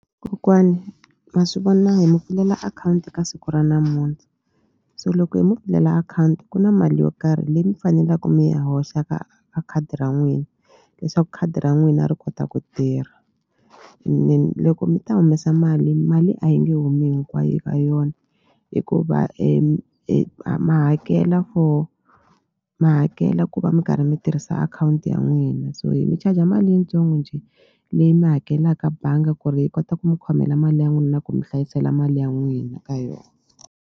Kokwani ma swi vona hi mi pfulela akhawunti ka siku ra namuntlha so loko hi mu pfulela akhawunti ku na mali yo karhi leyi mi fanelaku mi yi hoxa ka ka khadi ra n'wina leswaku khadi ra n'wina ri kota ku tirha loko mi ta humesa mali mali a yi nge humi hinkwayo ka yona hikuva a ma hakela for ma hakela ku va mi karhi mi tirhisa akhawunti ya n'wina so hi mi charger mali yintsongo njhe leyi mi hakelaka banga ku ri yi kota ku mi khomela mali ya n'wina na ku mi hlayisela mali ya n'wina ka .